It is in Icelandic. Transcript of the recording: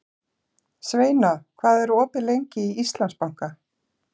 Sveina, hvað er opið lengi í Íslandsbanka?